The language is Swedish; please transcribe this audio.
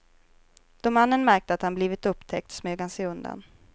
Då mannen märkte att han blivit upptäckt smög han sig undan.